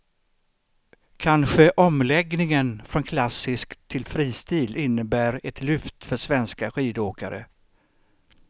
Kanske omläggningen från klassisk till fristil innebär ett lyft för svenska skidåkare.